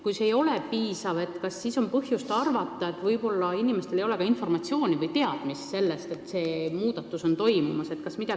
Kui see ei ole olnud piisav, kas siis on põhjust arvata, et inimestel ei ole võib-olla informatsiooni või teadmist, et muudatus on toimumas?